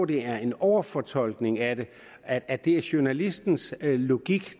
det er en overfortolkning af det at det journalistens logik